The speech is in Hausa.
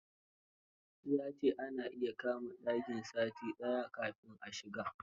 Ya ce ana iya kama ɗaki sati daya kafin a shiga